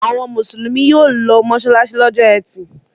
Àwọn Mùsùlùmí yóò lọ mọ́ṣáláṣí lọ́jọ́ ẹtì.